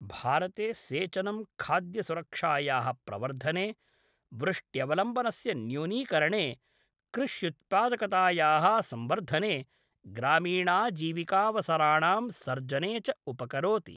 भारते सेचनं खाद्यसुरक्षायाः प्रवर्धने, वृष्ट्यवलम्बनस्य न्यूनीकरणे, कृष्युत्पादकतायाः संवर्धने, ग्रामीणाजीविकावसराणां सर्जने च उपकरोति।